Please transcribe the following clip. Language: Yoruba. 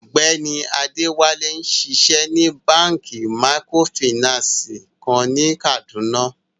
Ọgbẹni Adewale nṣíṣẹ ní bankí mìkrófínànsí kan ni Kaduna.